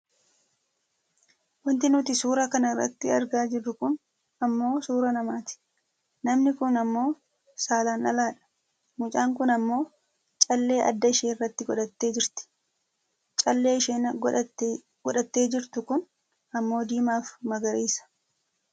Wanti nuti suura kana irratti argaa jirru kun ammoo suuraa namaati. Namni kun ammoo saalaan dhaladha. Mucaan kun ammoo callee adda isheerratti godhattee jirti. Calleen isheen godhattee jirtu kun ammoo diimaafi magariisa.